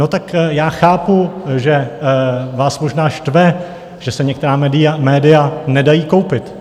No tak já chápu, že vás možná štve, že se některá média nedají koupit.